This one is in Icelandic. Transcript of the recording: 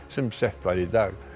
sem sett var í dag